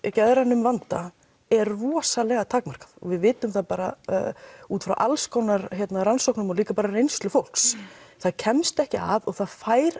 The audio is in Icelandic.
geðrænum vanda er rosalega takmarkað og við vitum það bara út frá alls konar rannsóknum og líka bara reynslu fólks það kemst ekki að og það fær